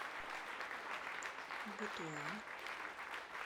бутуан